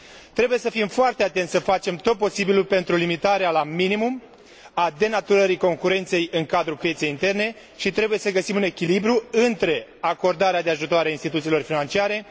Trebuie să fim foarte atenți și să facem tot posibilul pentru limitarea la minimum a denaturării concurenței în cadrul pieței interne și trebuie să găsim un echilibru între acordarea de ajutoare instituțiilor financiare și respectarea concurenței.